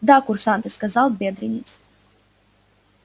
да курсанты сказал бедренец